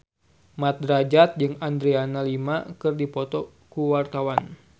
Mat Drajat jeung Adriana Lima keur dipoto ku wartawan